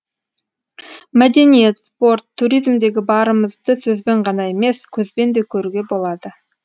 мәдениет спорт туризмдегі барымызды сөзбен ғана емес көзбен де көруге болады